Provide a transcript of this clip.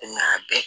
Nga bɛɛ